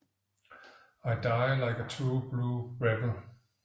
I die like a true blue rebel